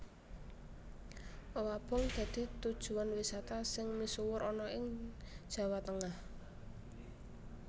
Owabong dadi tujuwan wisata sing misuwur ana ing Jawa Tengah